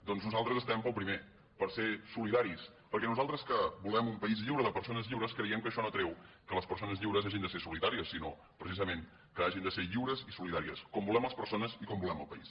doncs nosaltres estem pel primer per ser solidaris perquè nosaltres que volem un país lliure de persones lliures creiem que això no treu que les persones lliures hagin de ser solitàries sinó precisament que hagin de ser lliures i solidàries com volem les persones i com volem el país